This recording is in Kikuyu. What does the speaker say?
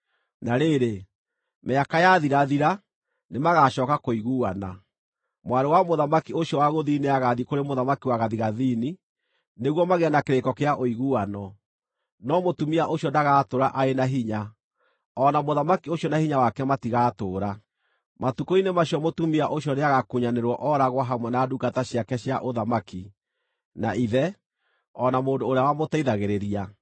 Na rĩrĩ, mĩaka yathirathira, nĩmagacooka kũiguana. Mwarĩ wa mũthamaki ũcio wa gũthini nĩagathiĩ kũrĩ mũthamaki wa gathigathini, nĩguo magĩe na kĩrĩko kĩa ũiguano, no mũtumia ũcio ndagatũũra arĩ na hinya, o na mũthamaki ũcio na hinya wake matigaatũũra. Matukũ-inĩ macio mũtumia ũcio nĩagakunyanĩrwo ooragwo hamwe na ndungata ciake cia ũthamaki, na ithe, o na mũndũ ũrĩa wamũteithagĩrĩria.